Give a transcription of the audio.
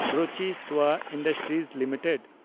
Ruchi soya industries limited